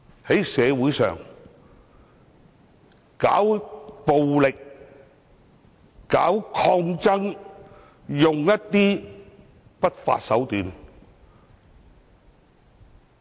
誰在社會上搞暴力、搞抗爭，使用不法手段？